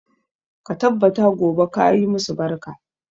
Ka tabbata gobe ka yi masu barka.